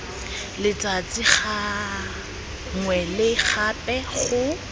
letsatsi gangwe le gape go